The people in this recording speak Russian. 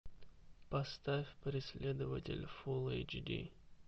поставь преследователь фулл эйч ди